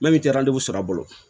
Min tɛ sara bolo